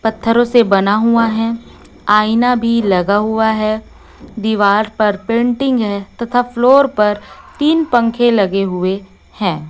पत्थरों से बना हुआ है आईना भी लगा हुआ है दीवार पर पेंटिंग है तथा फ्लोर पर तीन पंखे लगे हुए हैं।